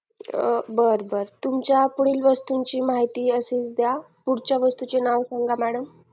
बर बर तुमच्या पुढील वस्तूची माहिती अशीच द्या पुढच्या वस्तूचे नाव सांगा madam